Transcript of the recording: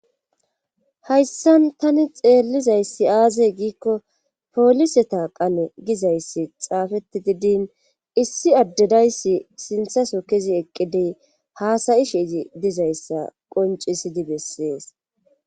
hayssan tani xeellizayssi aazey giikko poliseta qano gizayssi xaafeti didin issi addedayssi sinthaso kezi eqqidey haasayisheezi dizayssa qoncisidi bessees